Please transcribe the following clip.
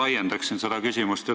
Ma laiendan seda küsimust.